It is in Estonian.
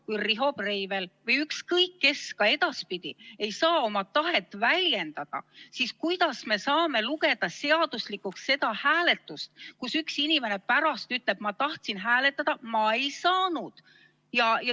Kui Riho Breivel või ükskõik kes ka edaspidi ei saa oma tahet väljendada, siis kuidas me saame lugeda seaduslikuks hääletust, mille kohta üks inimene pärast ütleb, et ma tahtsin hääletada, aga ma ei saanud?